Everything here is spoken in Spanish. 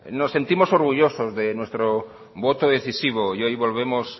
nos sentimos orgullosos de nuestro voto decisivo y hoy volvemos